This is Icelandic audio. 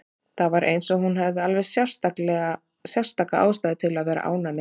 Það var eins og hún hefði alveg sérstaka ástæðu til að vera ánægð með lífið.